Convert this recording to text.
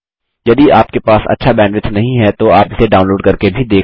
यदि आपके पास अच्छा बैंडविड्थ नहीं है तो आप इसे डाउनलोड करके भी देख सकते हैं